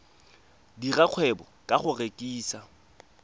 dira kgwebo ka go rekisa